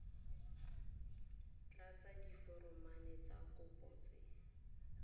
tlatsa diforomo tsa kopo tse